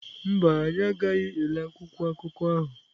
Mba, anyị agaghị ele akwụkwọ akụkọ ahụ.